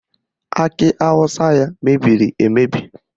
Akị awụsa ya emebiri emebi?